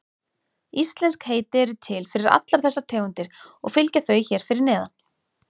Íslensk heiti eru til fyrir allar þessar tegundir og fylgja þau hér fyrir neðan.